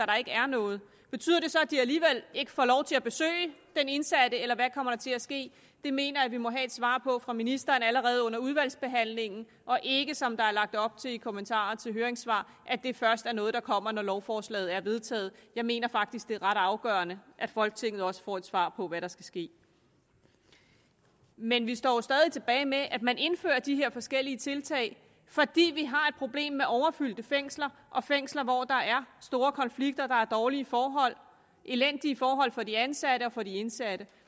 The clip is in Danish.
der ikke er noget betyder det så at de alligevel ikke får lov til at besøge den indsatte eller hvad kommer der til at ske det mener jeg vi må have svar på fra ministeren allerede under udvalgsbehandlingen og ikke som der er lagt op til i kommentarer til høringssvar at det først er noget der kommer når lovforslaget er vedtaget jeg mener faktisk at det er ret afgørende at folketinget også får et svar på hvad der skal ske men vi står stadig tilbage med at man indfører de her forskellige tiltag fordi vi har et problem med overfyldte fængsler og fængsler hvor der er store konflikter der er dårlige forhold elendige forhold for de ansatte og for de indsatte